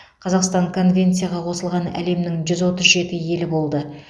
қазақстан конвенцияға қосылған әлемнің жүз отыз жеті елі болды